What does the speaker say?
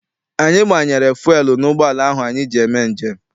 Anyi gbanyere fuelu n'ụgbọala ahụ anyị ji eme njem.